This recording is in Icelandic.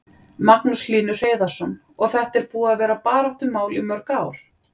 Magnús Hlynur Hreiðarsson: Og þetta er búið að vera baráttumál í mörg ár?